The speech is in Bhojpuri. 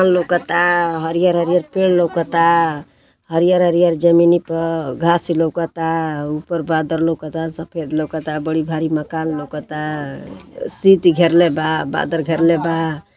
लौकता हरिहर हरिहर पेड़ लौकता हरिहर हरिहर जमीनी प घास लौकता ऊपर बादर लौकता सफेद लौकता बड़ी भारी मकान लौकता शीत घेरले बा बादल घेरले बा।